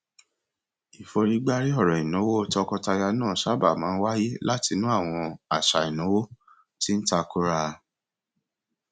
ìforígbárí ọrọ ìnáwó tọkọtaya náà sábà máa ń wá láti inú àwọn àṣà ìnáwó tí ń tàkòrá